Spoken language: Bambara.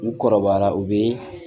N 'u kɔrɔbayara u bɛ